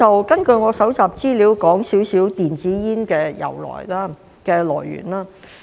根據我搜集的資料，我說些少電子煙的來源。